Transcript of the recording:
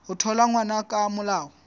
ho thola ngwana ka molao